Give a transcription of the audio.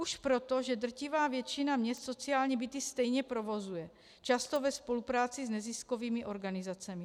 Už proto, že drtivá většina měst sociální byty stejně provozuje, často ve spolupráci s neziskovými organizacemi.